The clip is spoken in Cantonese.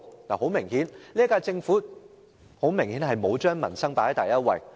由此可見，現屆政府沒有把民生放在第一位。